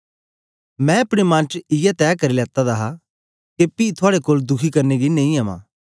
मैं अपने मन च इयै तै करी लेते दा हा के पी थुआड़े कोल दुखी करने गी नेई अमां